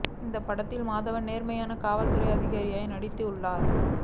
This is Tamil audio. இந்த படத்தில் மாதவன் நேர்மையான காவல் துறை அதிகாரியாக நடித்துள்ளார்